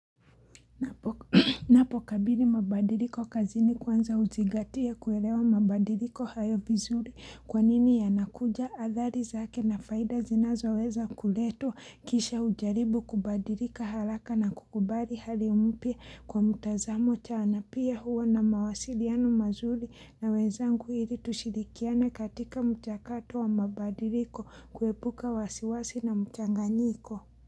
Napokabili mabadiliko kazini kwanza huzigatia kuelewa mabadiliko hayo vizuri kwanini yanakuja adhali zake na faida zinazoweza kuletwa kisha hujaribu kubadilika haraka na kukubali hali mpya kwa mutazamo chana na pia huo na mawasiliano mazuri na wezangu ili tushirikiane katika mchakato wa mabadiliko kuepuka wasiwasi na mchanganyiko.